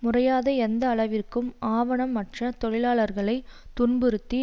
முறியாத எந்த அளவிற்கு ஆவணம் அற்ற தொழிலாளர்களை துன்புறுத்தி